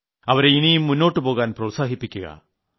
അവരെ ഇനിയും മുന്നോട്ടുപോകാൻ പ്രോത്സാഹിപ്പിക്കുക